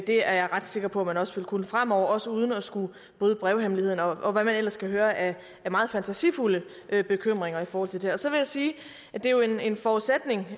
det er jeg ret sikker på at man også vil kunne fremover også uden at bryde brevhemmeligheden og hvad vi ellers kan høre af meget fantasifulde bekymringer i forhold til det her så vil jeg sige at det er en forudsætning